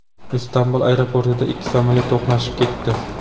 Istanbul aeroportida ikki samolyot to‘qnashib ketdi.